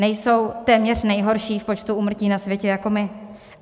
Nejsou téměř nejhorší v počtu úmrtí na světě jako my.